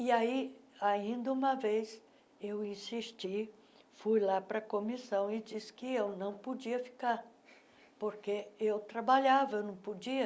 E aí, ainda uma vez, eu insisti, fui lá para a comissão e disse que eu não podia ficar, porque eu trabalhava, eu não podia.